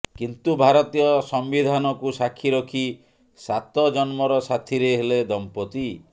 କିନ୍ତୁ ଭାରତୀୟ ସମ୍ବିଧାନକୁ ସାକ୍ଷୀ ରଖି ସାତ ଜନ୍ମର ସାଥିରେ ହେଲେ ଦମ୍ପତି